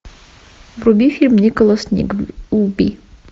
вруби фильм николас никлби